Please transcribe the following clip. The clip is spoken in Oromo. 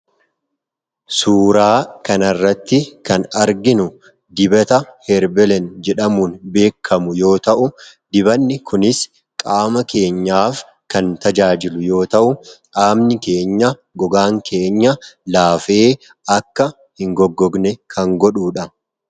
Suuraa kana irratti kan arginu dibata ''herbelen'' jedhamuun beekamu yoo ta'u dibanni kunis qaama keenyaaf kan tajaajilu yoo ta'u qaamni keenya, gogaan keenya laafee akka hin goggogne kan godhuudha.